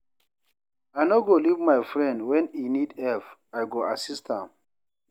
I no go leave my friend when e need help, I go assist am.